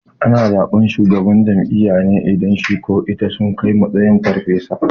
Ana zaɓan shugaban jami'a ne idan shi ko ita sun kai matakin farfesa